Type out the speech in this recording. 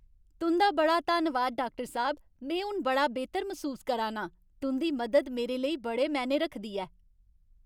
तुं'दा बड़ा धन्नवाद, डाक्टर साह्ब! में हून बड़ा बेह्तर मसूस करा नां। तुं'दी मदद मेरे लेई बड़े मैह्ने रखदी ऐ।